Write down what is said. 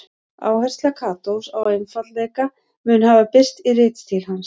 Áhersla Katós á einfaldleika mun hafa birst í ritstíl hans.